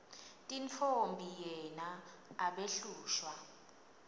tintfombi yena abehlushwa